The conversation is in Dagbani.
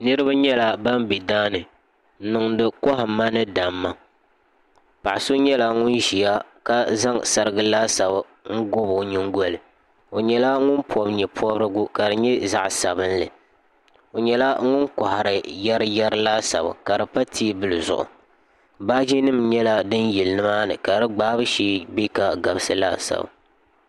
niraba nyɛla ban bɛ daani n niŋdi kohamma ni damma paɣa so nyɛla ŋun ʒiya ka zaŋ sarigi laasabu n gobi o nyingoli o nyɛla ŋun pobi nyɛ pobirigu ka di nyɛ zaɣ sabinli o nyɛla ŋun kohari yɛri yɛri laasabu ka di pa teebuli zuɣu baaji nim nyɛla din yili nimaani ka di gbaabu shee bɛ ka gabisi laasabu